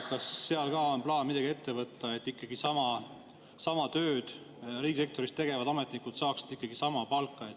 Kas selles osas on plaan midagi ette võtta, et ikkagi sama tööd riigisektoris tegevad ametnikud saaksid sama palka?